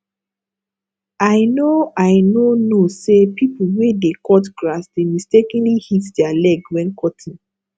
i no i no know say people wey dey cut grass dey mistakenly hit their leg when cutting